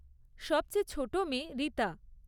সবচেয়ে ছোট মেয়ে রীতা।